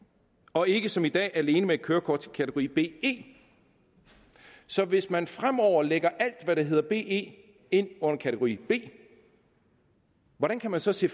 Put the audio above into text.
og ikke som i dag alene med et kørekort til kategori be så hvis man fremover lægger alt hvad der hedder be ind i under kategori b hvordan kan man så se